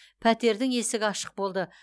пәтердің есігі ашық болды